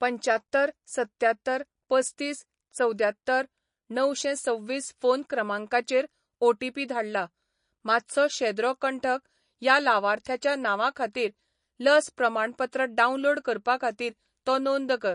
पंच्यात्तर सत्त्यात्तर पस्तीस चवद्यात्तर णवशेंसव्वीस फोन क्रमांकाचेर ओ.टी.पी. धाडला. मातसो शेद्रो कंठक ह्या लावार्थ्याच्या नांवा खातीर लस प्रमाणपत्र डावनलोड करपा खातीर तो नोंद कर.